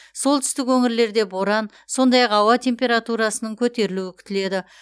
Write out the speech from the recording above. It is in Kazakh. солтүстік өңірлерде боран сондай ақ ауа температурасының көтерілуі күтіледі